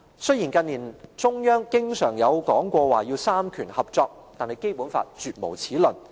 雖然近年中央經常說要三權合作，但《基本法》絕無此論。